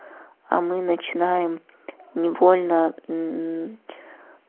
а мы начинаем невольно мм